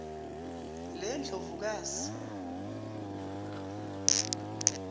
lendlovukazi